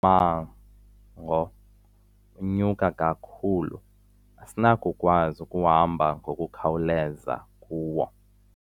mmango unyuka kakhulu asinakukwazi ukuhamba ngokukhawuleza kuwo.